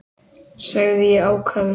sagði ég ákafur.